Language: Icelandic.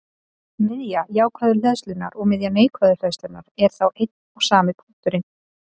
Miðja jákvæðu hleðslunnar og miðja neikvæðu hleðslunnar eru þá einn og sami punkturinn.